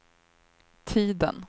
tiden